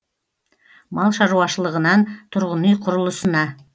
мал шаруашылығынан тұрғын үй құрылысына